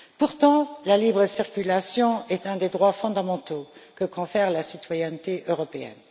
Pourtant, la libre circulation est un des droits fondamentaux que confère la citoyenneté européenne.